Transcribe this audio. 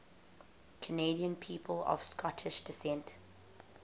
canadian people of scottish descent